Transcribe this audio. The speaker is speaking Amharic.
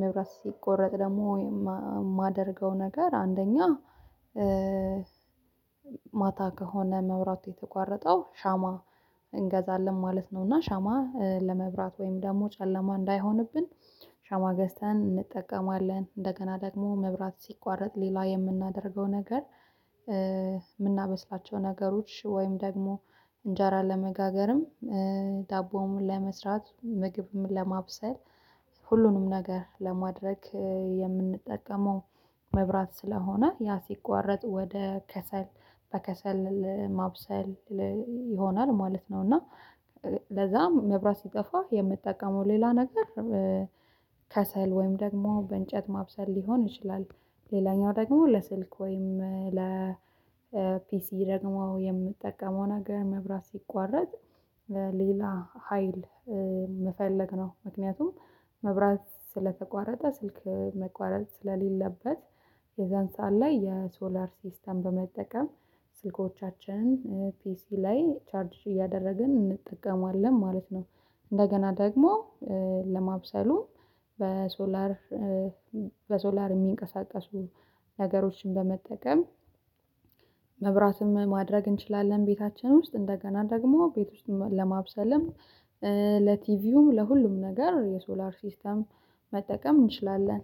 መብራት ሲቆረጥ ደግሞ የማደርገው ነገር አንደኛ ማታ ከሆነ መብራት የተቋረጠው ሻማ እንገዛለን ማለት ነው። እና ሻማ ለመብራት ወይም ደግሞ ጨለማ እንዳይሆንብን ሻማ ገዝተን እንጠቀማለን። እንደገና ደግሞ መብራት ሲቋረጥ ሌላ የምናደርገው ነገር። የምናበስላቸው ነገሮች ወይም ደግሞ እንጀራ ለመጋገርም ዳቦም ለመስራት ምግብም ለማብሰል ሁሉንም ነገር ለማድረግ የምንጠቀመው መብራት ስለሆነ ያ ሲቋረጥ ወደ ከሰል በከሰል ማብሰል ይሆናል ማለት ነው። እና ለዛም መብራት ሲጠፋ የምትጠቀመው ሌላ ነገር ከሰል ወይም ደግሞ በእንጨት ማብሰል ሊሆን ይችላል። ሌላኛው ደግሞ ለስልክ ወይም ለፒሲ ደግሞ የምጠቀመው ነገር መብራት ሲቋረጥ ሌላ ሀይል መፈለግ ነው። ምክንያቱም መብራት ስለተቋረጠ ስልክ መቋረጥ ስለሌለበት የዛን ሰዓት ላይ የሶላር ሲስተም በመጠቀም ስልኮቻችን ፒሲ ላይ ቻርጅ እያደረግን እንጠቀማለን ማለት ነው። እንደገና ደግሞ ለማብሰሉም በሶላር በሶላር የሚንቀሳቀሱ ነገሮችን በመጠቀም መብራትም ማድረግ እንችላለን። ቤታችን ውስጥ እንደገና ደግሞ ቤት ውስጥ ለማብሰልም ለቲቪውም ለሁሉም ነገር የሶላር ሲስተም መጠቀም እንችላለን